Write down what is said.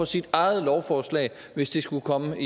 sit eget lovforslag hvis det skulle komme